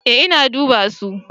Ee na duba su.